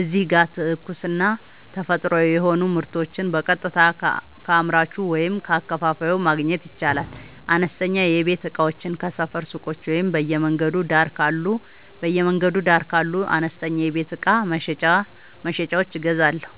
እዚህ ጋር ትኩስና ተፈጥሯዊ የሆኑ ምርቶችን በቀጥታ ከአምራቹ ወይም ከአከፋፋዩ ማግኘት ይቻላል። አነስተኛ የቤት እቃዎችን ከሰፈር ሱቆች ወይም በየመንገዱ ዳር ካሉ አነስተኛ የቤት እቃ መሸጫዎች እገዛለሁ።